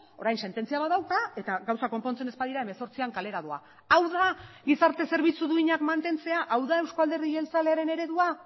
orain sententzia bat dauka eta gauzak konpontzen ez badira hemezortzian kalera doa hau da gizarte zerbitzu duinak mantentzea hau da euzko alderdi jeltzalearen eredua